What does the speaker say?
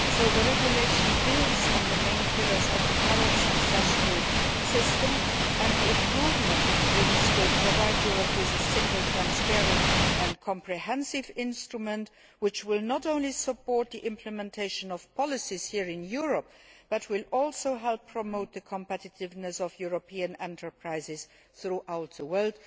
So the regulation builds on the main pillars of the current, successful system, and the improvement it brings will provide Europe with a single transparent and comprehensive instrument which will not only support the implementation of policies here in Europe but will also help promote the competitiveness of European enterprises throughout the world.